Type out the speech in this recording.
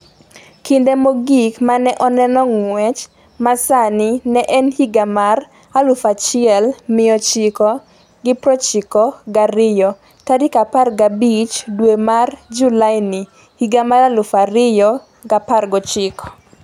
Kinde mogik ma ne oneno ng’wech ma sani ne en higa mar 1992.15 dwe mar Julaini 2019